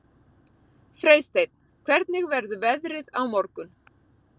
Freysteinn, hvernig verður veðrið á morgun?